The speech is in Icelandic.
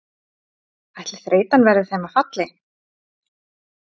Ætli þreytan verði þeim að falli?